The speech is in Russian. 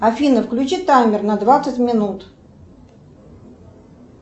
афина включи таймер на двадцать минут